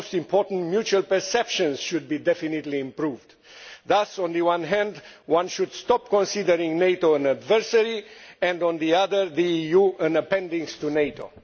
and, most important, mutual perceptions should be definitely improved. Thus, on the one hand, one should stop considering NATO as an adversary and, on the other, the EU as an appendix to NATO.